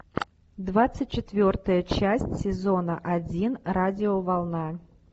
двадцать четвертая часть сезона один радиоволна